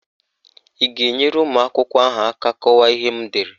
Ị ga-enyere ụmụakwụkwọ ahụ aka kọwaa ihe m dere?